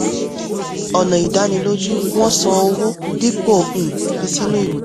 ọ̀nà ìdánilójú wọ́n san owó dípò um fi sínú ìwé.